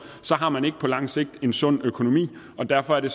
har man ikke på lang sigt en sund økonomi og derfor er det